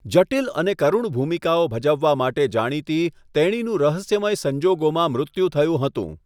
જટિલ અને કરુણ ભૂમિકાઓ ભજવવા માટે જાણીતી, તેણીનું રહસ્યમય સંજોગોમાં મૃત્યુ થયું હતું.